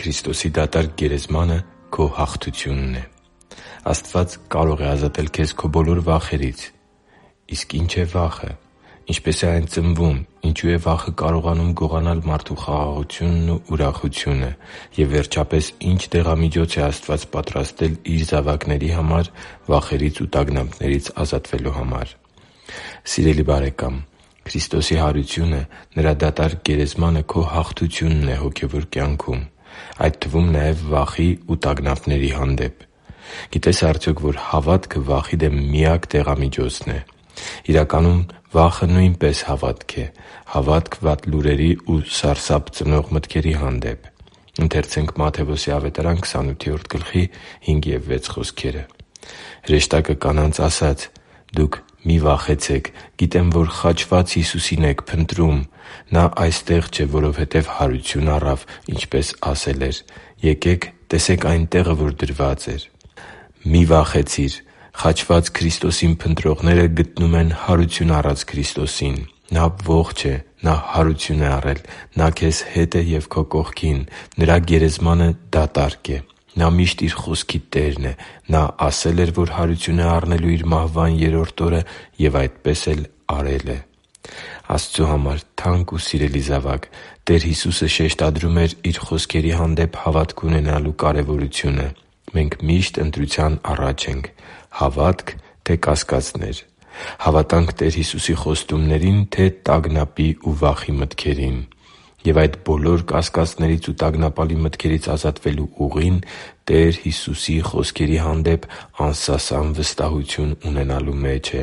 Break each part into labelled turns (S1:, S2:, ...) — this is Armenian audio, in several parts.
S1: Քրիստոսի դատարկ գերեզմանը քո հաղթությունն է Աստված կարո՛ղ է ազատել քեզ քո բոլոր վախերից։ Ի՞նչ է վախը։ Ինչպե՞ս է այն ծնվում։ Ինչո՞ւ է վախը կարողանում գողանալ մարդու խաղաղությունն ու ուրախությունը։ Եվ վերջապես, ի՞նչ դեղամիջոց է Աստված պատրաստել Իր զավակների համար վախերից ու տագնապներից ազատվելու համար։ Սիրելի՛ բարեկամ, Քրիստոսի հարությունը՝ Նրա դատարկ գերեզմանը, քո հաղթությունն է հոգևոր կյանքում, այդ թվում նաև՝ վախի ու տագնապների հանդեպ։ Գիտե՞ս արդյոք, որ հավատքը վախի դեմ միակ դեղամիջոցն է։ Իրականում, վախը նույնպես հավատք է՝ հավատք վատ լուրերի ու սարսափ ծնող մտքերի հանդեպ։ «Հրեշտակը կանանց ասաց. «Դուք մի՛ վախեցեք, գիտեմ, որ խաչված Հիսուսին եք փնտրում։ Նա այստեղ չէ, որովհետև հարություն առավ, ինչպես ասել էր։ Եկեք տեսե՛ք այն տեղը, որտեղ դրված էր» (Մատթեոս 28:5-6): Մի՛ վախեցիր։ Խաչված Քրիստոսին փնտրողները գտնում են հարություն առած Քրիստոսին։ Նա ողջ է։ Նա հարություն է առել։ Նա քեզ հետ է և քո կողքին։ Նրա գերեզմանը դատարկ է։ Նա միշտ Իր խոսքի տերն է։ Նա ասել էր, որ հարություն է առնելու Իր մահվան երրորդ օրը և այդպես էլ արել է։ Աստծու համար թանկ ու սիրելի՛ զավակ, Տեր Հիսուսը շեշտադրում էր Իր խոսքերի հանդեպ հավատք ունենալու կարևորությունը։ Մենք միշտ ընտրության առաջ ենք՝ հավա՞տք, թե՞ կասկածներ։ Հավատանք Տեր Հիսուսի խոստումների՞ն, թե՞ տագնապի ու վախի մտքերին։ Եվ այդ բոլոր կասկածներից ու տագնապալի մտքերից ազատվելու ուղին Տեր Հիսուսի խոսքերի հանդեպ անսասան վստահություն ունենալու մեջ է։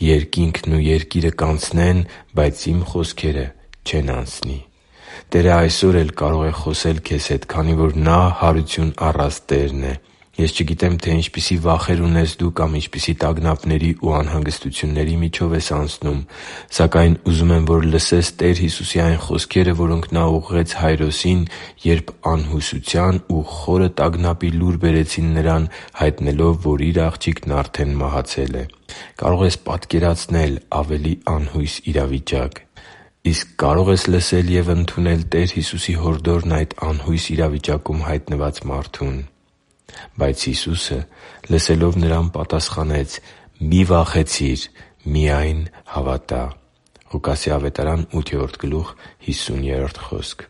S1: «Երկինքն ու երկիրը կանցնեն, բայց Իմ խոսքերը չեն անցնի» (Մատթեոս 24․35): Տերը այսօ՛ր էլ կարող է խոսել քեզ հետ, քանի որ Նա հարություն առած Տերն է։ Ես չգիտեմ, թե ինչպիսի վախեր ունես դու կամ ինչպիսի տագնապների ու անհանգստությունների միջով ես անցնում։ Սակայն ուզում եմ, որ լսես Տեր Հիսուսի այն խոսքերը, որոնք Նա ուղղեց Հայրոսին, երբ անհուսության ու խորը տագնապի լուր բերեցին նրան՝ հայտնելով, որ իր աղջիկն արդեն մահացել է։ Կարո՞ղ ես պատկերացնել ավելի անհույս իրավիճակ։ Իսկ կարո՞ղ ես լսել և ընդունել Տեր Հիսուսի հորդորն այդ անհույս իրավիճակում հայտնված մարդուն․․․ «Բայց Հիսուսը, լսելով, նրան պատասխանեց. «Մի՛ վախեցիր, միայն հավատա՛․․․» (Ղուկաս 8․50):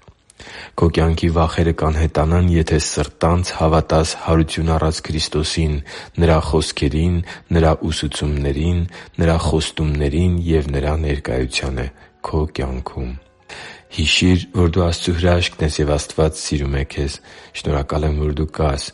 S1: Քո կյանքի վախերը կանհետանան, եթե սրտանց հավատաս հարություն առած Քրիստոսին՝ Նրա խոսքերին, Նրա ուսուցումներին, Նրա խոստումներին և Նրա ներկայությանը քո կյանքում։ Հիշի՛ր, որ դու Աստծո հրաշքն ես, և Աստված սիրում է քեզ։ Շնորհակալ եմ, որ դու կա՛ս